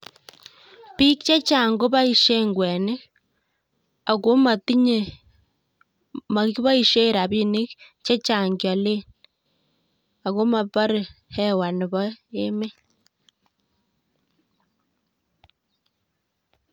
Biik chechang' koboisen kwenik, ago matinye, makiboisie rabinik chechang' kiale, ago mabare hewa nebo emet